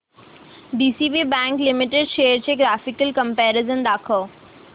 DCB bank limited shares चे graphical comparison दाखव